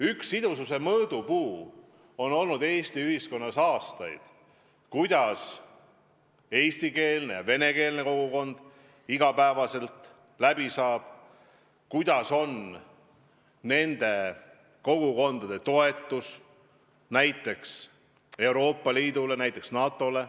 Üks sidususe mõõdupuu on Eesti ühiskonnas aastaid olnud see, kuidas eestikeelne ja venekeelne kogukond igapäevaselt läbi saab ning milline on nende kogukondade toetus näiteks Euroopa Liidule, NATO-le.